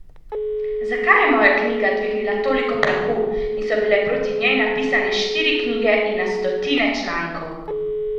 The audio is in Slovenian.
Zakaj je moja knjiga dvignila toliko prahu in so bile proti njej napisane štiri knjige in na stotine člankov?